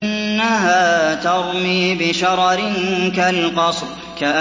إِنَّهَا تَرْمِي بِشَرَرٍ كَالْقَصْرِ